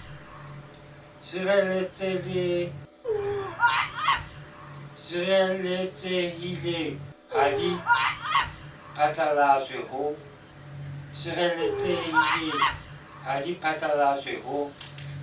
sireletsehileng ha di phatlalatswe ho